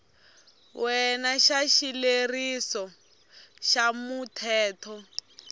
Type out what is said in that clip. wena xa xileriso xa muthelo